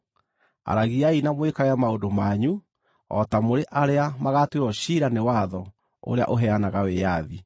Aragiai na mwĩkage maũndũ manyu o ta mũrĩ arĩa magaatuĩrwo ciira nĩ watho ũrĩa ũheanaga wĩyathi,